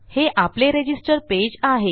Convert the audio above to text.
हे आपले register page आहे